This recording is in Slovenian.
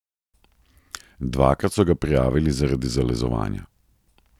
Dvakrat so ga prijavili zaradi zalezovanja.